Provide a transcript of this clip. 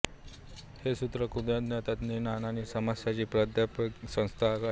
हे सूत्र कृदन्त तद्धितान्त आणि समासाची प्रातिपदिक संज्ञा करते